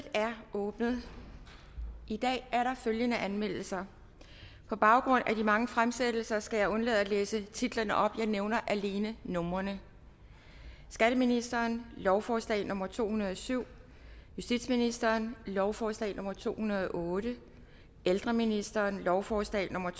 åbnet i dag er der følgende anmeldelser og på baggrund af de mange fremsættelser skal jeg undlade at læse titlerne op jeg nævner alene numrene skatteministeren lovforslag nummer l to hundrede og syv justitsministeren lovforslag nummer l to hundrede og otte ældreministeren lovforslag nummer